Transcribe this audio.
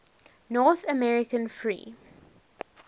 north american free